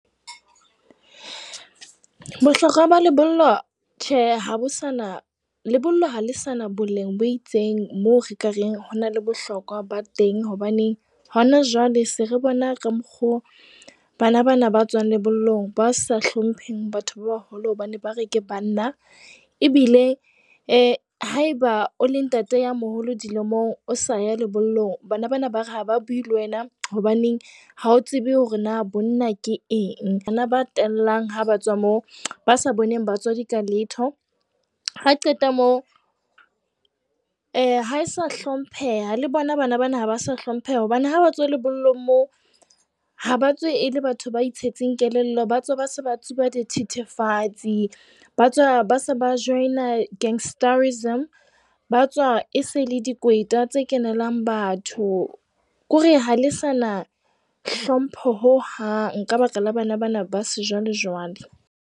Bohlokwa ba lebollo, tjhe, ha bo sana. Lebollo ha le sa na boleng bo itseng moo re ka reng ho na le bohlokwa ba teng. Hobaneng hona jwale se re bona ka mokgo bana bana ba tswang lebollong ba sa hlompheng batho ba baholo, hobane ba re ke banna. Ebile haeba o le ntate ya moholo dilemong, o sa ya lebollong bana bana ba re ha ba bue le wena, hobaneng ha o tsebe hore na bonna ke eng. hana ba tellang ha ba tswa mo ba sa boneng batswadi ka letho. Ha qeta moo, ha e sa hlompheha le bona bana bana ha ba sa hlompheha hobane ha ba tswa lebollong moo ha ba tswe e le batho ba itshetseng kelello. Ba tswa ba se ba tsuba dithethefatsi, ba se ba join-a gangsterism. Ba tswa e se le dikweta tse kenelang batho. Kore ha le sa na hlompho ho hang, ka baka la bana bana ba se jwale jwale.